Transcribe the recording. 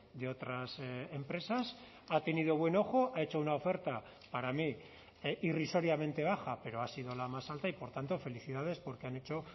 de otras empresas ha tenido buen ojo ha hecho una oferta para mí irrisoriamente baja pero ha sido la más alta y por tanto felicidades porque han hecho